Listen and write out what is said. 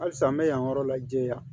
Halisa n bɛ yan yɔrɔ la jɛya